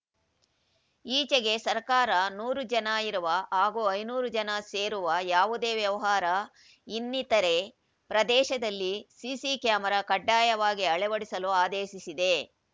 ಈಚೆಗೆ ಸರ್ಕಾರ ನೂರು ಜನ ಇರುವ ಹಾಗೂ ಐದುನೂರು ಜನ ಸೇರುವ ಯಾವುದೇ ವ್ಯವಹಾರ ಇನ್ನಿತರೆ ಪ್ರದೇಶದಲ್ಲಿ ಸಿಸಿ ಕ್ಯಾಮೆರಾ ಕಡ್ಡಾಯವಾಗಿ ಅಳವಡಿಸಲು ಆದೇಶಿಸಿದೆ